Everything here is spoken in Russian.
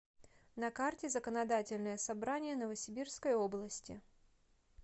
на карте законодательное собрание новосибирской области